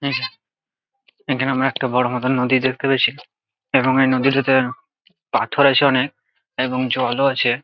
এখনে আমরা একটা বড়ো মতো নদী দেখতে পাইয়াছি এবং এই নদীটিতে পাথর আছে অনেক এবং জলও আছে।